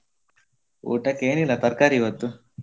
ಊಟಕ್ಕೇನಿಲ್ಲ ತರ್ಕಾರಿ ಇವತ್ತು.